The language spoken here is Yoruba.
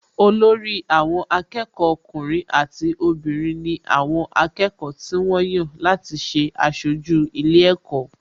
Olórí àwọn akẹ́kọ̀ọ́ ọkùnrin àti obìnrin ni àwọn akẹ́kọ̀ọ́ tí wọ́n yàn láti ṣe aṣojú ilé ẹ̀kọ́